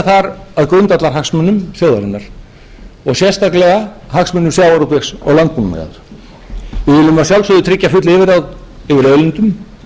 þar að grundvallarhagsmunum þjóðarinnar og sérstaklega hagsmunum sjávarútvegs og landbúnaðar við viljum að sjálfsögðu tryggja full yfirráð yfir auðlindum